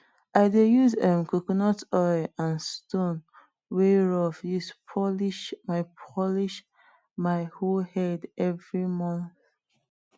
i dey use um coconut oil and stone wey rough use polish my polish my hoe head every month